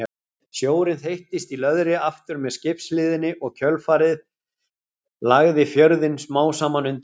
Sjórinn þeyttist í löðri aftur með skipshliðinni og kjölfarið lagði fjörðinn smám saman undir sig.